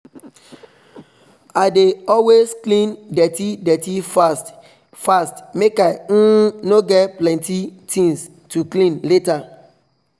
i dey always clean dirty dirty fast fast make i um no get plenty things to clean later